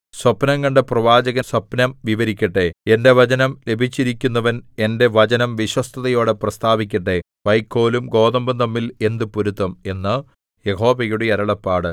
സ്വപ്നംകണ്ട പ്രവാചകൻ സ്വപ്നം വിവരിക്കട്ടെ എന്റെ വചനം ലഭിച്ചിരിക്കുന്നവൻ എന്റെ വചനം വിശ്വസ്തതയോടെ പ്രസ്താവിക്കട്ടെ വൈക്കോലും ഗോതമ്പും തമ്മിൽ എന്ത് പൊരുത്തം എന്ന് യഹോവയുടെ അരുളപ്പാട്